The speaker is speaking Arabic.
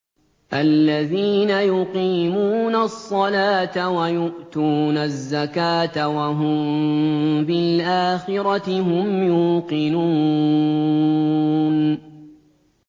الَّذِينَ يُقِيمُونَ الصَّلَاةَ وَيُؤْتُونَ الزَّكَاةَ وَهُم بِالْآخِرَةِ هُمْ يُوقِنُونَ